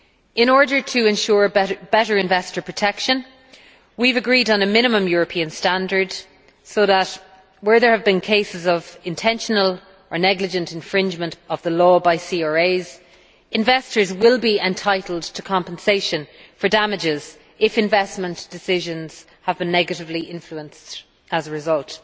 In order to ensure better investor protection, we have agreed on a minimum European standard, so that where there have been cases of intentional or negligent infringement of the law by CRAs, investors will be entitled to compensation for damages if investment decisions have been negatively influenced as a result.